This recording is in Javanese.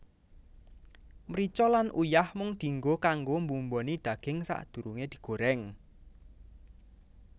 Mrica lan uyah mung dienggo kanggo mbumboni daging sadurunge digoreng